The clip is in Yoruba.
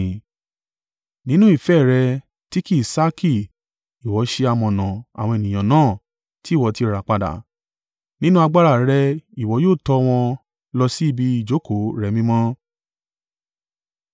Nínú ìfẹ́ rẹ ti kì í sákí Ìwọ ṣe amọ̀nà àwọn ènìyàn náà tí Ìwọ ti rà padà. Nínú agbára rẹ Ìwọ yóò tọ́ wọn, lọ sí ibi ìjókòó rẹ mímọ́.